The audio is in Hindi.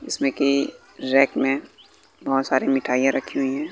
जिसमें कि रैक में बहुत सारी मिठाईयां रखी हुई हैं।